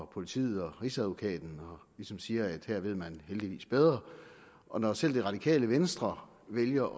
politiet og rigsadvokaten og ligesom siger at her ved man heldigvis bedre når selv det radikale venstre vælger